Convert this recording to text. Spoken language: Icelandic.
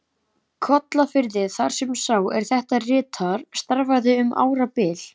Kollafirði, þar sem sá, er þetta ritar, starfaði um árabil.